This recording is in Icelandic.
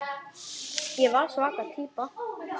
Ég var svaka týpa.